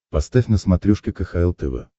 поставь на смотрешке кхл тв